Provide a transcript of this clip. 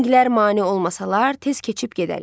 Minklər mane olmasalar tez keçib gedərik.